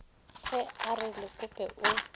ge a re lekope o